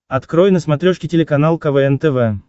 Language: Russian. открой на смотрешке телеканал квн тв